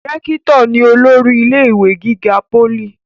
rẹ́kítọ̀ ni olórí ilé ìwé gíga pólì